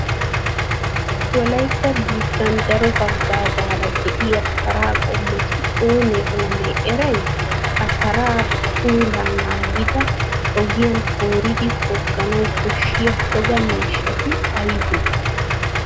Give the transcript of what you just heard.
Wolaytta biittan daro haggaazaara de'iya paraa qommoti oonee oonee eray? Ha paraa puulaa naagida ogiyan kooridi togganawu koshshiya toga miishshati aybee?